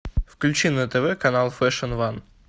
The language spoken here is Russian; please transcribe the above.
включи на тв канал фэшн ван